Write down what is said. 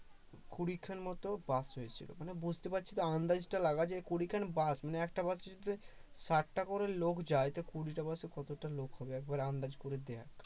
কুড়ি টার মত বাস হয়েছিল মানে বুঝতে পারছিস কুড়ি খান বাস মানে একটা বাস এ ষাটটা করে লোক যায় তো কুড়িটা বাসে কতজন লোক হবে একবার আন্দাজ করে দেখ